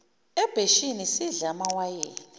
ebheshini sidle amawayini